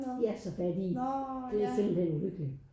De er så fattige det er simpelthen uhyggeligt